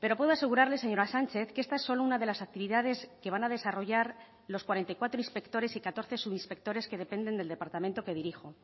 pero puedo asegurarle señora sánchez que esta es solo una de las actividades que van a desarrollar los cuarenta y cuatro inspectores y catorce subinspectores que dependen del departamento que dirijo